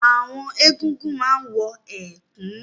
Àwọn egúngún máa ń wọ ẹ̀kú